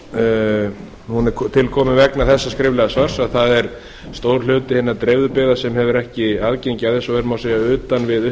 fyrirspurn þessi er tilkomin vegna þessa skriflega svars að það er stór hluti hinna dreifðu byggða sem hefur ekki aðgengi að þessu og er má